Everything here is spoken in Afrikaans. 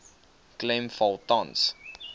klem val tans